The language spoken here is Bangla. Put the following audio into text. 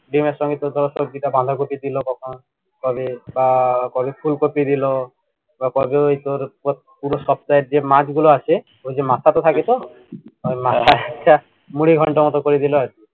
ডিমের সঙ্গে তোর সব্জিটা বাঁধাকপি দিলো কখন কবে বা কবে ফুলকপি দিলো বা কবে ওই তোর পুরো সপ্তাহের যে মাছ গুলো আছে ওই যে মাথাটো থাকতো মাথাটা মুড়িঘন্ডর মতো করে দিলো আর কি